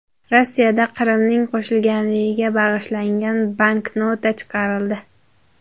Rossiyada Qrimning qo‘shilganligiga bag‘ishlangan banknota chiqarildi.